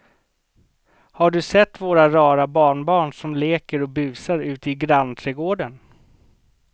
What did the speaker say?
Har du sett våra rara barnbarn som leker och busar ute i grannträdgården!